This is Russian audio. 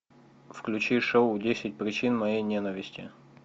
включи шоу десять причин моей ненависти